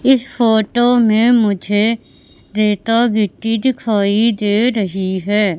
इस फोटो में मुझे रेता गिट्टी दिखाई दे रही है।